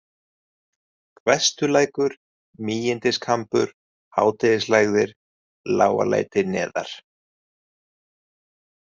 Hvestulækur, Mígindiskambur, Hádegislægðir, Lágaleiti neðar